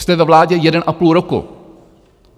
Jste ve vládě jeden a půl roku.